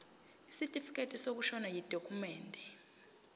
isitifikedi sokushona yidokhumende